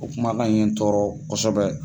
O kumakan ye n tɔɔrɔ kosɛbɛ.